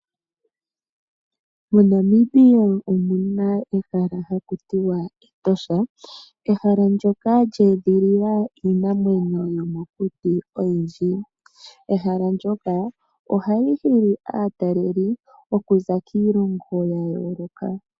MoNamibia omu na ehala haku tiwa Etosha, ehala ndyoka lyeedhilila iinamwenyo yomokuti oyindji. Ehala ndyoka oha li hili aatalelipo okuza kiilongo ya yooloka.